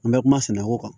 An bɛ kuma sɛnɛko kan